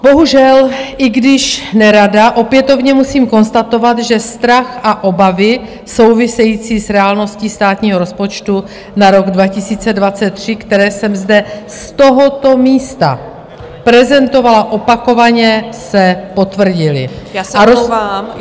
Bohužel, i když nerada, opětovně musím konstatovat, že strach a obavy související s reálností státního rozpočtu na rok 2023, které jsem zde z tohoto místa prezentovala opakovaně, se potvrdily...